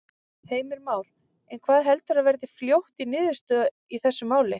Heimir Már: En hvað heldurðu að verði fljótt í niðurstöðu í þessu máli?